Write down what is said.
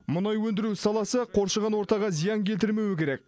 мұнай өндіру саласы қоршаған ортаға зиян келтірмеуі керек